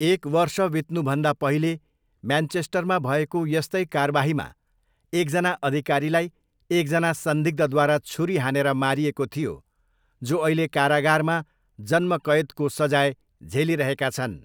एक वर्ष बित्नुभन्दा पहिले म्यान्चेस्टरमा भएको यस्तै कारबाहीमा एकजना अधिकारीलाई एकजना संदिग्धद्वारा छुरी हानेर मारिएको थियो, जो अहिले कारागारमा जन्मकैदको सजाय झेलिरहेका छन्।